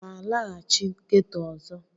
Ị ga-alaghachi ghetọ ọzọ?